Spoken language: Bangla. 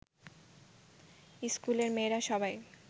ইস্কুলের মেয়েরা সবাই